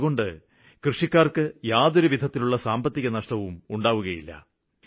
അതുകൊണ്ട് കൃഷിക്കാര്ക്ക് യാതൊരുവിധത്തിലുള്ള സാമ്പത്തിക നഷ്ടങ്ങളും ഉണ്ടാകുകയില്ല